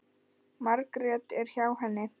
Margrét er hjá henni.